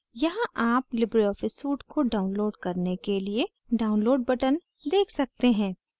यहाँ आप libreoffice suite को download करने के लिए download button देख सकते हैं